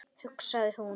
hugsaði hún.